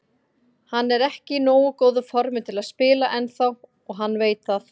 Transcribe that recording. Hann er ekki í nógu góðu formi til að spila ennþá og hann veit það.